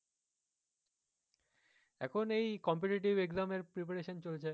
এখন এই competitive exam এর preparation চলছে